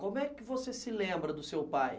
Como é que você se lembra do seu pai?